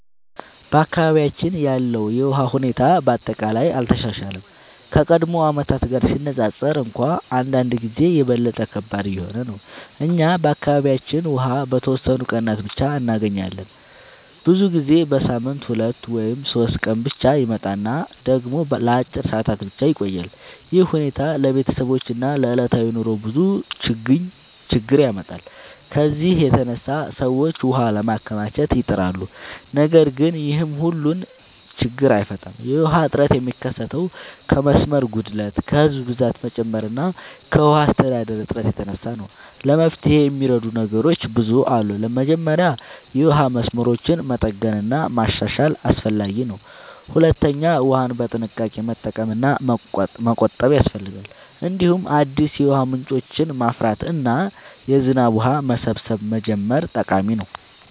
በአካባቢያችን ያለው የውሃ ሁኔታ በአጠቃላይ አልተሻሻለም፤ ከቀድሞ ዓመታት ጋር ሲነፃፀር እንኳን አንዳንድ ጊዜ የበለጠ ከባድ እየሆነ ነው። እኛ በአካባቢያችን ውሃ በተወሰኑ ቀናት ብቻ እንገኛለን፤ ብዙ ጊዜ በሳምንት 2 ወይም 3 ቀን ብቻ ይመጣል እና ደግሞ ለአጭር ሰዓታት ብቻ ይቆያል። ይህ ሁኔታ ለቤተሰቦች እና ለዕለታዊ ኑሮ ብዙ ችግኝ ያመጣል። ከዚህ የተነሳ ሰዎች ውሃ ለማከማቸት ይጥራሉ፣ ነገር ግን ይህም ሁሉን ችግኝ አይፈታም። የውሃ እጥረት የሚከሰተው ከመስመር ጉድለት፣ ከህዝብ ብዛት መጨመር እና ከውሃ አስተዳደር እጥረት የተነሳ ነው። ለመፍትሄ የሚረዱ ነገሮች ብዙ አሉ። መጀመሪያ የውሃ መስመሮችን መጠገን እና ማሻሻል አስፈላጊ ነው። ሁለተኛ ውሃን በጥንቃቄ መጠቀም እና መቆጠብ ያስፈልጋል። እንዲሁም አዲስ የውሃ ምንጮችን ማፍራት እና የዝናብ ውሃ መሰብሰብ መጀመር ጠቃሚ ነው።